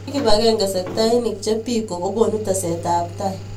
komi kibakengee sektainik che biko ko konu teset ab tai